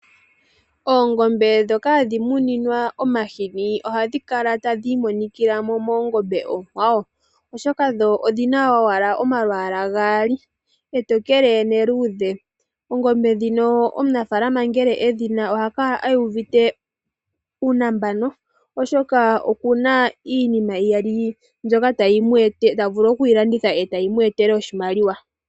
Oongombe dhoka hadhi muninwa omahini ohadhi kala tadhi imonikilamo moongombe okwawo oshoka dho odhina owala omalwala gali etokele neludhe. Oongombe dhino omunafalama ngele edhi na oha kala uvite uunambano oshoka okuna iinima iyali mbyoka tavulu oku landitha etayi mu etele oshimaliwa.